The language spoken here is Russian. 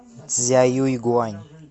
цзяюйгуань